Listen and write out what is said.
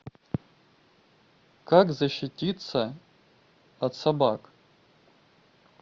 как защититься от собак